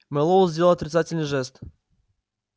мэллоу сделал отрицательный жест